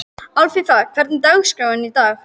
Alfífa, hvernig er dagskráin í dag?